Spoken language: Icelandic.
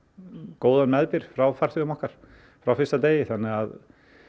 góðan meðbyr frá farþegum okkar frá fyrsta degi þannig að